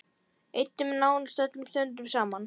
Eyddum nánast öllum stundum saman.